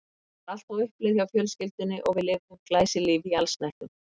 Það var allt á uppleið hjá fjölskyldunni og við lifðum glæsilífi í allsnægtum.